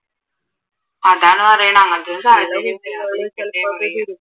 അതാണ് പറയണ